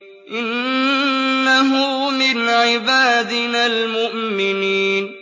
إِنَّهُ مِنْ عِبَادِنَا الْمُؤْمِنِينَ